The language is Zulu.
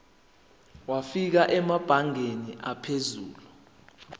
wafika emabangeni aphezulu